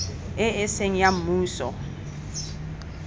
e e seng ya mmuso